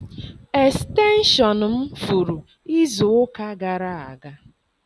Estenshọn m furu izu ụka gara aga.